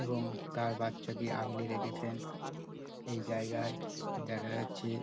এবং তার বাচ্চাকে আগলে রেখেছেন। এই জায়গায় দেখা যাচ্ছে |